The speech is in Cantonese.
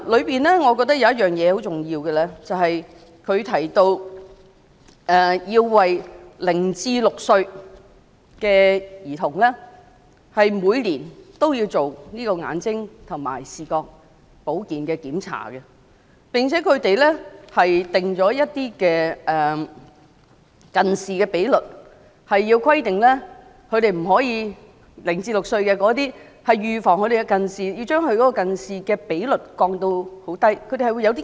當中有一點是很重要的，便是要每年為0歲至6歲的兒童進行眼睛和視覺保健的檢查，並且制訂0歲至6歲的兒童的近視比率，以預防近視，並訂下指標，要將近視的比率降至很低的水平。